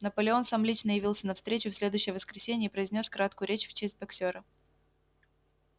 наполеон сам лично явился на встречу в следующее воскресенье и произнёс краткую речь в честь боксёра